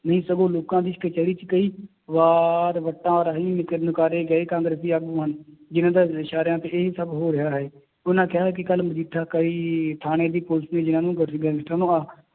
ਨਹੀਂ ਸਗੋਂ ਲੋਕਾਂ ਦੀ ਕਚਿਹਰੀ ਚ ਕਈ ਵਾਰ ਵੱਟਾਂ ਰਾਹੀਂ ਨਿਕ ਨਿਕਾਰੇ ਗਏ ਕਾਂਗਰਸੀ ਆਗੂ ਹਨ, ਜਿੰਨਾਂ ਦੇ ਇਸ਼ਾਰਿਆਂ ਤੇ ਇਹ ਸਭ ਹੋ ਰਿਹਾ ਹੈ, ਉਹਨਾਂ ਕਿਹਾ ਹੈ ਕਿ ਕੱਲ੍ਹ ਮਜੀਠਾ ਕਈ ਥਾਣੇ ਦੀ ਪੁਲਿਸ ਗੈਂਗਸਟਰਾਂ ਨੂੰ